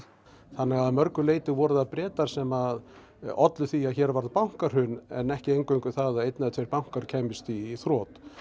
þannig að að mörgu leyti voru það Bretar sem ollu því að hér varð bankahrun en ekki eingöngu það að einn eða tveir bankar kæmust í þrot